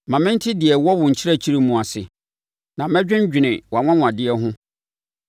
Ma mente deɛ ɛwɔ wo nkyerɛkyerɛ mu ase; na mɛdwendwene wʼanwanwadeɛ ho.